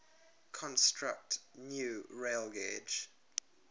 construct new railgauge